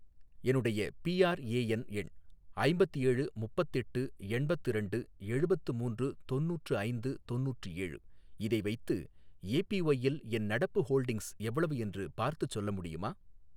என்னுடைய பிஆர்ஏஎன் எண் ஐம்பத்து ஏழு முப்பத்துதெட்டு எண்பத்து இரண்டு எழுபத்து மூன்று தொண்ணூற்று ஐந்து தொண்ணூற்று ஏழு, இதை வைத்து ஏபிஒய்யில் என் நடப்பு ஹோல்டிங்ஸ் எவ்வளவு என்று பார்த்துச் சொல்ல முடியுமா?